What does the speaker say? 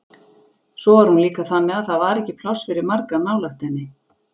Svo var hún líka þannig að það var ekki pláss fyrir marga nálægt henni.